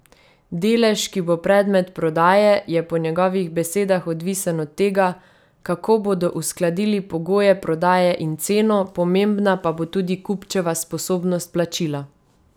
Delež, ki bo predmet prodaje, je po njegovih besedah odvisen od tega, kako bodo uskladili pogoje prodaje in ceno, pomembna pa bo tudi kupčeva sposobnost plačila.